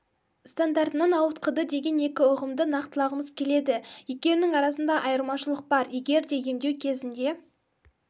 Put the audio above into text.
стандартынан ауытқыды деген екі ұғымды нақтылғымыз келеді екеуінің арасында айырмашылық бар егер де емдеу кезінде